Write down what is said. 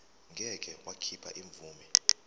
ngeke wakhipha imvume